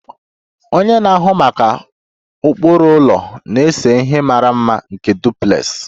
Onye na-ahụ maka ụkpụrụ ụlọ na-ese ihe mara mma nke duplex